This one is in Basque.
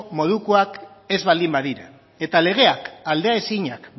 modukoak ez baldin badira eta legeak aldea ezinak